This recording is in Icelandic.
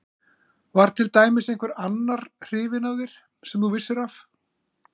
Var til dæmis einhver annar hrifinn af þér sem þú vissir af?